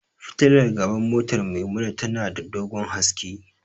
Fitilar gaban motar Maimuna tana da dogon haske.